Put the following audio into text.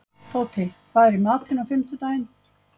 Tóti, hvað er í matinn á fimmtudaginn?